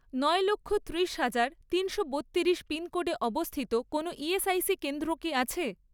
নয় লক্ষ, ত্রিশ হাজার, তিনশো বত্তিরিশ পিনকোডে অবস্থিত কোনও ইএসআইসি কেন্দ্র কি আছে?